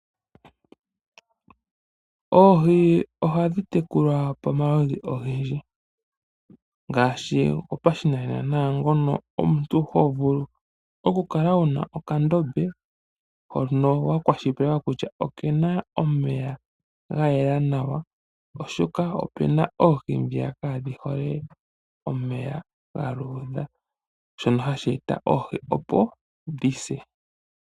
Oohi ohadhi tekulwa pomaludhi ogendji ngaashi gopashinanena naangono omuntu ho vulu okukala wu na okandombe hono wa kwashilipaleka kutya oke na omeya ga gwana nawa, oshoka opu na oohi ndiya kaadhi hole omeya ga luudha. Ohashi eta oohi opo dhi se.